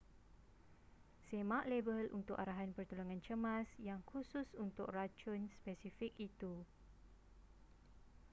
semak label untuk arahan pertolongan cemas yang khusus untuk racun spesifik itu